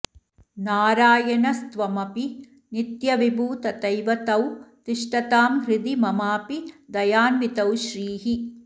नारायणस्त्वमपि नित्यविभू तथैव तौ तिष्ठतां हृदि ममापि दयान्वितौ श्रीः